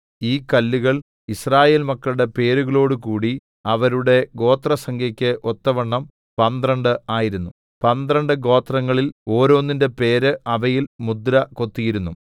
ഈ കല്ലുകൾ യിസ്രായേൽ മക്കളുടെ പേരുകളോടുകൂടി അവരുടെ ഗോത്രസംഖ്യയ്ക്കു ഒത്തവണ്ണം പന്ത്രണ്ട് ആയിരുന്നു പന്ത്രണ്ട് ഗോത്രങ്ങളിൽ ഓരോന്നിന്റെ പേര് അവയിൽ മുദ്ര കൊത്തിയിരുന്നു